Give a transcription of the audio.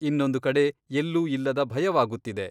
ಇನ್ನೊಂದು ಕಡೆ ಎಲ್ಲೂ ಇಲ್ಲದ ಭಯವಾಗುತ್ತಿದೆ.